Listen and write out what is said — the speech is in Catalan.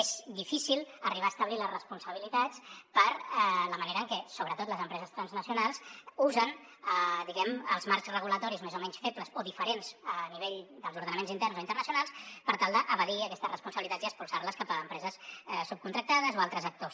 és difícil arribar a establir les responsabilitats per la manera en què sobretot les empreses transnacionals usen els marcs reguladors més o menys febles o diferents a nivell dels ordenaments interns o internacionals per tal d’evadir aquestes responsabilitats i expulsar les cap a empreses subcontractades o altres actors